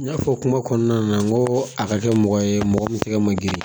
N y'a fɔ kuma kɔnɔna na n ko a ka kɛ mɔgɔ ye mɔgɔ min tɛgɛ ma girin